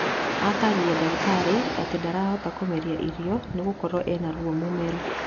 Atarĩria dagĩtarĩ atĩ ndarahota kũmeria irio nĩgokorwo ena ruo mũmero